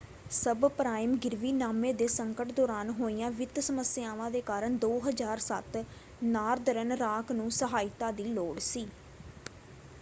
Sub-prime ਗਿਰਵੀਨਾਮੇ ਦੇ ਸੰਕਟ ਦੌਰਾਨ ਹੋਈਆਂ ਵਿੱਤ ਸਮੱਸਿਆਵਾਂ ਦੇ ਕਾਰਨ 2007 ਨਾਰਦਰਨ ਰਾਕ ਨੂੰ ਸਹਾਇਤਾ ਦੀ ਲੋੜ ਸੀ।